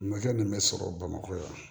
Makɛ min bɛ sɔrɔ bamakɔ yan